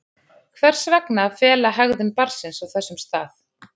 Hvers vegna að fela hegðun barnsins á þessum stað?